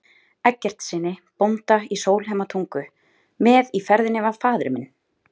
Eggertssyni bónda í Sólheimatungu, með í ferðinni var faðir minn